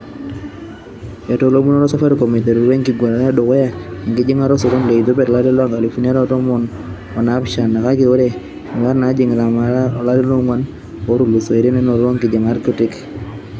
Etolomutuo Safaricom eiterutua eng'uarata edukuya enkijingata o sokoni le Ethiopia to lari loonkalifuni are o tomon o naapishana kake ore nyuat naajing'ia maate toolarin onguan otulusoitia nenoto enkijingata kiti.